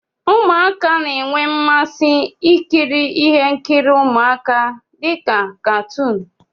Ụmụaka na-enwe mmasị ikiri ihe nkiri ụmụaka dị ka katuun.